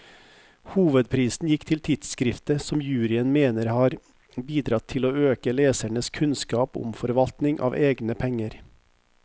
Hovedprisen gikk til tidskriftet, som juryen mener har bidratt til å øke lesernes kunnskap om forvaltning av egne penger.